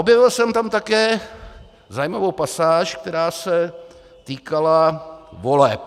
Objevil jsem tam také zajímavou pasáž, která se týkala voleb.